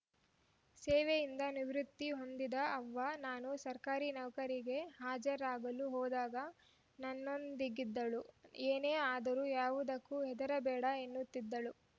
ಸೇವೆಯಿಂದ ನಿವೃತ್ತಿ ಹೊಂದಿದ ಅವ್ವ ನಾನು ಸರ್ಕಾರಿ ನೌಕರಿಗೆ ಹಾಜರಾಗಲು ಹೋದಾಗ ನನ್ನೊಂದಿಗಿದ್ದಳು ಏನೇ ಆದರೂ ಯಾವುದಕ್ಕೂ ಹೆದರಬೇಡ ಎನ್ನುತ್ತಿದ್ದಳು